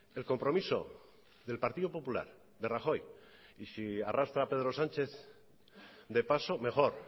el compromiso del partido popular de rajoy y si arrastra a pedro sánchez de paso mejor